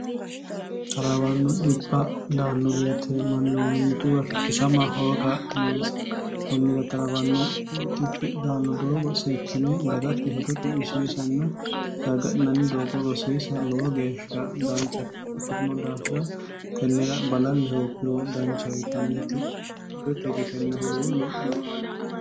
talawanno dhibba daanno beeteemmanno mimmituwa kikkisama hooga noonsi kunnira xarawanno dii danno doogo seekkine dagatte hedo cu'mishiishnna garga'inanni doogo rosiisa lowo geeshsha danchate ikkitino daafira tennera balalli hoogguro dancha wianneti hedo te girenna huluullo noo albinnir